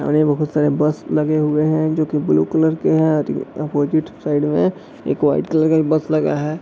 और यहाँ बहोत सारे बस लगे हुए हैं जो की ब्लू कलर के हैं और अपोजिट साइड में एक व्हाइट कलर का एक बस लगा है।